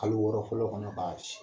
Kalo wɔɔrɔ fɔlɔ kɔnɔ k'a ci